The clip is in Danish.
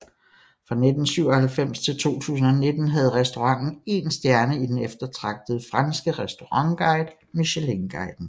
Fra 1997 til 2019 havde restauranten én stjerne i den eftertragtede franske restaurantguide Michelinguiden